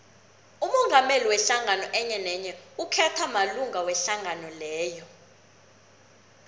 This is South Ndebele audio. umongameli wehlangano enyenenye ukhethwa malunga wehlangano leyo